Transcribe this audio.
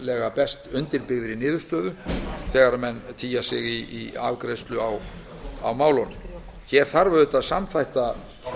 sem best undirbyggðri niðurstöðu þegar menn tygja sig í afgreiðslu á málunum hér þarf að samþætta